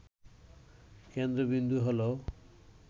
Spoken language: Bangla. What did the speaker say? কেন্দ্রবিন্দু হল